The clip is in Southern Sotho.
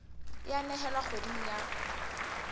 e a nehelwa kgweding ya